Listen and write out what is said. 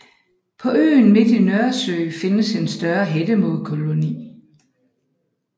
På øen midt i Nørresø findes en større hættemågekoloni